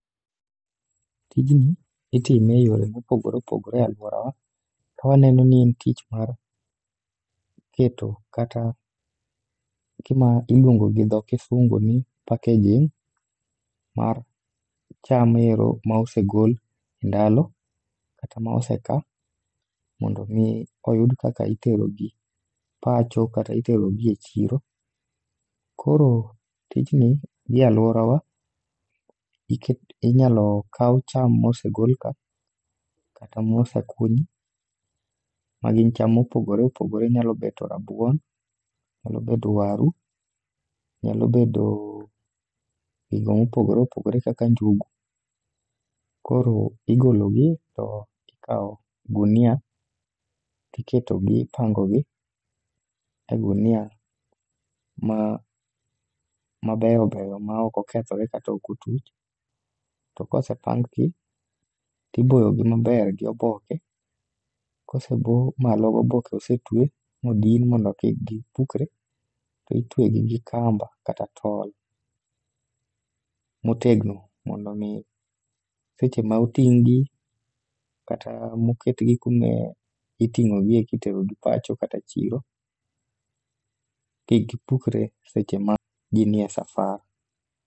Tijni itime e yore mopogore opogore e alworawa, kawaneno ni en tich mar keto kata gima iluongo gi dho kisungu ni packaging mar cham ero ma osegol e ndalo, kata ma oseka, mondo omi oyud kaka iterogi pacho kata iterogi e chiro. Koro tijni, gi e alworawa, inyalo kaw cham mosegolka, kata mosekunyi, ma gin cham mopogore opogore nyalo bedo rabuon, nyalo bedo waru, nyalo bedo gigo mopogore opogore kaka njugu. Koro igologi, tikawo gunia tiketogi, ipangogi e gunia ma beyo beyo ma ok okethore kata ok otuch. To kosepang gi, tiboyogi maber gi oboke. Kosebo malo gi oboke, osetuwe modin mondo kik gipukre, to itwegi gi kamba kata tol motegno mondo omi seche ma oting'gi, kata oketgi kaka iting'ogie kiterogi pacho kata chiro, kik gipukre seche ma gin e safar.